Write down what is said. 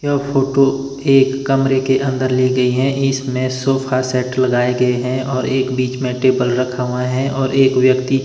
यह फोटो एक कमरे के अंदर ले गई है इसमें सोफा सेट लगाए गए हैं और एक बीच में टेबल रखा हुआ है और एक व्यक्ति--